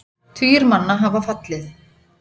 Tugir manna hafa fallið.